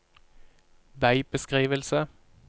veibeskrivelse